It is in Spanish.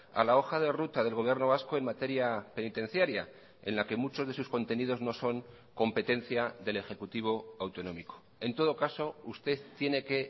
a la hoja de ruta del gobierno vasco en materia penitenciaria en la que muchos de sus contenidos no son competencia del ejecutivo autonómico en todo caso usted tiene que